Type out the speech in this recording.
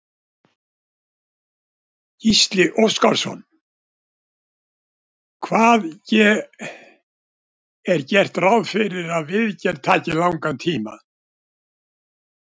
Gísli Óskarsson: Hvað ge, er gert ráð fyrir að viðgerð taki langan tíma?